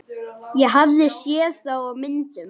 Ég hafði séð þá á myndum.